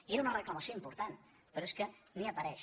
i era una reclamació important però és que ni hi apareix